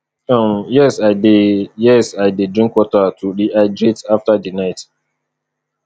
um yes i dey yes i dey drink water to rehydrate after di night